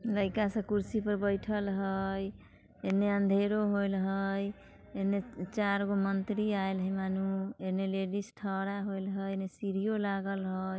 लाइका सब कुर्सी पर बैठल हय इनने अँधेरों होल हय आयल चार गो मंतरी आयल हय एनने लेडिज थरा होले हय सीढ़ियो लागल हय |